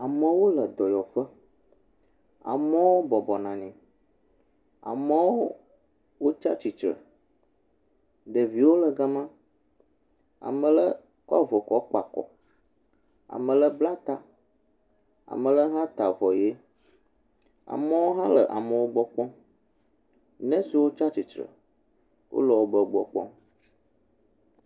Amewo le dɔyɔƒe. amewo bɔbɔnɔ anyi. Amewo wotsi atsitre. Ɖeviwo le ga ma. Ame aɖe kɔ avɔ kɔ kpa kɔ. Ame aɖe bla ta, ame aɖe hã ta avɔ ʋi. amewo hã le amewo gbɔ kpɔm. nɔsiwo tsiatsitre wo le be gbɔ kpɔm.